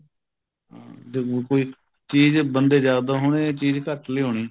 ਜਦੋਂ ਕੋਈ ਚੀਜ਼ ਬੰਦੇ ਜਿਆਦਾ ਹੋਣੇ ਚੀਜ਼ ਘੱਟ ਲਿਆਉਣੀ